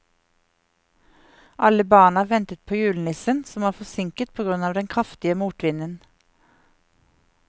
Alle barna ventet på julenissen, som var forsinket på grunn av den kraftige motvinden.